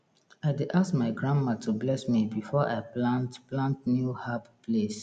i dey ask my grandma to bless me before i plant plant new herb place